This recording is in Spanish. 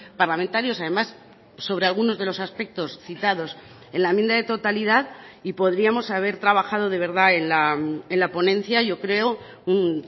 parlamentarios además sobre algunos de los aspectos citados en la enmienda de totalidad y podríamos haber trabajado de verdad en la ponencia yo creo un